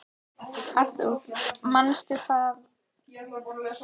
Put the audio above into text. Arthur, manstu hvað verslunin hét sem við fórum í á fimmtudaginn?